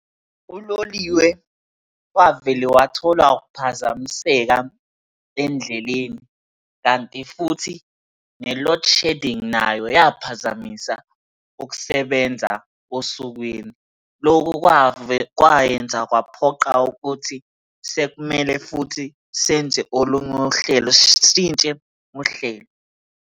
Uloliwe, wavele wathola ukuphazamiseka endleleni, kanti futhi ne-load shedding nayo yaphazamisa ukusebenza osukwini. Lokhu kwayenza kwaphoqa ukuthi sekumele futhi senze olunye uhlelo sitshintshe uhlelo.